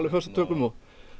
föstum tökum og